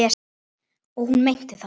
Og hún meinti það.